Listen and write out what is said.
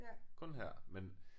Kun her men